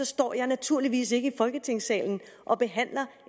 står jeg naturligvis ikke i folketingssalen og behandler